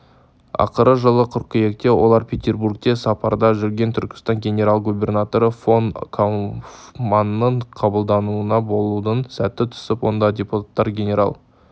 ақыры жылы қыркүйекте олар петербургте сапарда жүрген түркістан генерал-губернаторы фон кауфманның қабылдауында болудың сәті түсіп онда депутаттар генерал